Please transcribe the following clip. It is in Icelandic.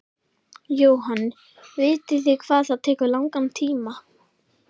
Jóhann: Vitið þið hvað það tekur langan tíma?